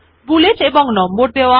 bullet এবং number দেওয়া